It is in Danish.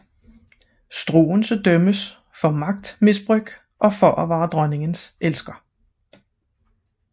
Struensee dømmes for magtmisbrug og for at være dronningens elsker